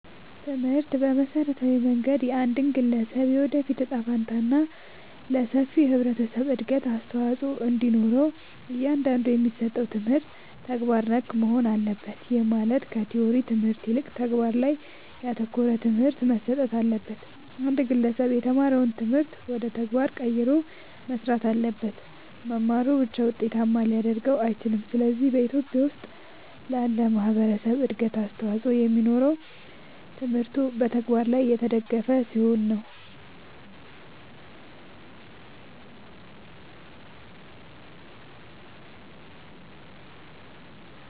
ትምህርት በመሠረታዊ መንገድ የአንድን ግለሠብ የወደፊት እጣ ፈንታ እና ለሠፊው የህብረተሠብ እድገት አስተዋፅኦ እንዲኖረው እያንዳንዱ የሚሠጠው ትምህርት ተግባር ነክ መሆን አለበት። ይህም ማለት ከቲወሪው ትምህርት ይልቅ ተግባር ላይ ያተኮረ ትምህርት መሠጠት አለበት። አንድ ግለሠብ የተማረውን ትምህርት ወደ ተግባር ቀይሮ መሥራት አለበት። መማሩ ብቻ ውጤታማ ሊያደርገው አይችልም። ስለዚህ በኢትዮጲያ ውስጥ ላለ ማህበረሠብ እድገት አስተዋፅኦ የሚኖረው ትምህርቱ በተግባር የተደገፈ ሲሆን ነው።